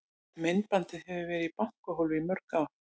Myndbandið hefur verið í bankahólfi í mörg ár.